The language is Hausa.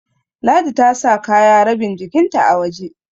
Ladi ta sa kaya rabin jikinta a waje